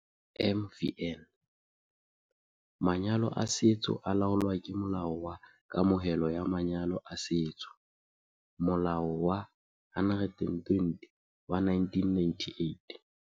MvN- Manyalo a setso a laolwa ke Molao wa Kamohelo ya Manyalo a Setso, Molao wa 120 wa 1998.